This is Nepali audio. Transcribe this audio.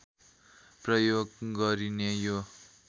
प्रयोग गरिने यो